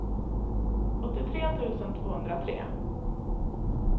åttiotre tusen tvåhundratre